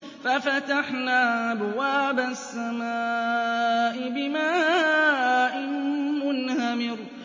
فَفَتَحْنَا أَبْوَابَ السَّمَاءِ بِمَاءٍ مُّنْهَمِرٍ